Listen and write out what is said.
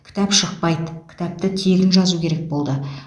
кітап шықпайды кітапты тегін жазу керек болды